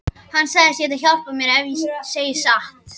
Hann sagðist geta hjálpað mér ef ég segði satt.